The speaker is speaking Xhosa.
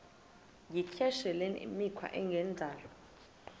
yityesheleni imikhwa engendawo